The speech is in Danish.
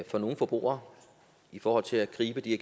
for nogle forbrugere i forhold til at gribe de